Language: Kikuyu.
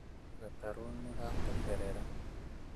Gatarũ nĩ gatomberera